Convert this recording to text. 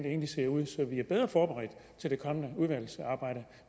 egentlig ser ud så vi er bedre forberedt til det kommende udvalgsarbejde